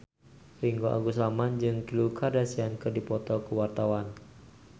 Ringgo Agus Rahman jeung Khloe Kardashian keur dipoto ku wartawan